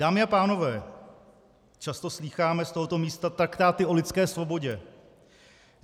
Dámy a pánové, často slýcháme z tohoto místa traktáty o lidské svobodě.